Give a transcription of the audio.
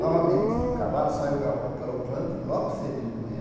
Novamente, o cavalo saiu garro galopando logo cedinho de manhã.